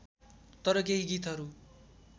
तर केही गीतहरू